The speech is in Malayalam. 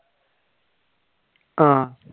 ആഹ്